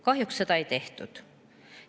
Kahjuks seda ei tehtud.